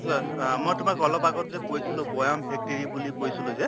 মই তোমাক অলপ আগত যে কৈছিলো বৈয়াম factory বুলি কৈছলো যে